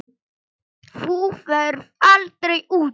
Þú ferð aldrei út.